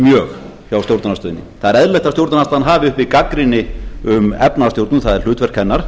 mjög hjá stjórnarandstöðunni það er eðlilegt að stjórnarandstaðan hafi uppi gagnrýni um efnahagsstjórn það er hlutverk hennar